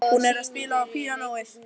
Hún er að spila á píanóið.